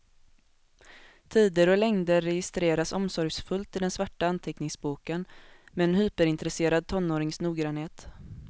Tider och längder registreras omsorgsfullt i den svarta anteckningsboken, med en hyperintresserad tonårings noggrannhet.